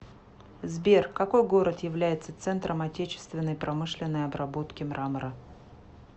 сбер какой город является центром отечественной промышленной обработки мрамора